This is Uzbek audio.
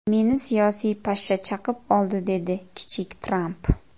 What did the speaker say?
Meni siyosiy pashsha chaqib oldi”, dedi kichik Tramp.